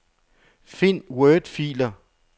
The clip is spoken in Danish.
Find wordfiler.